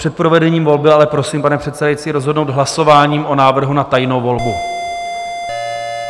Před provedením volby ale prosím, pane předsedající, rozhodnout hlasováním o návrhu na tajnou volbu.